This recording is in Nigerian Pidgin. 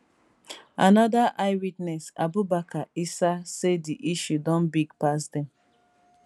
anoda eyewitness abubakar isa say di issue don big pass dem